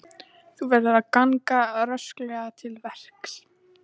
Þú verður að ganga rösklega til verks.